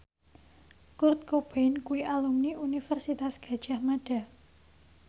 Kurt Cobain kuwi alumni Universitas Gadjah Mada